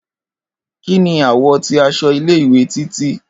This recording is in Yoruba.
Kini àwọ̀ ti aṣọ ile-iwe Titi?